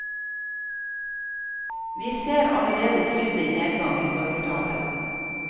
Vi ser allerede tydelig nedgang i søkertallet.